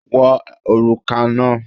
Wọ òrùka náà!